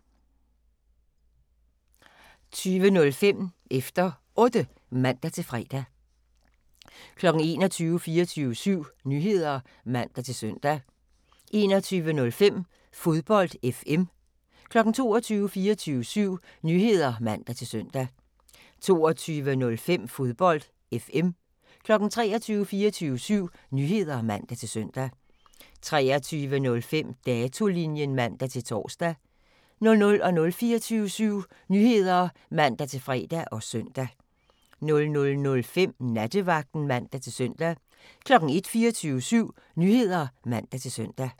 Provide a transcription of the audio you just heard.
20:05: Efter Otte (man-fre) 21:00: 24syv Nyheder (man-søn) 21:05: Fodbold FM 22:00: 24syv Nyheder (man-søn) 22:05: Fodbold FM 23:00: 24syv Nyheder (man-søn) 23:05: Datolinjen (man-tor) 00:00: 24syv Nyheder (man-fre og søn) 00:05: Nattevagten (man-søn) 01:00: 24syv Nyheder (man-søn)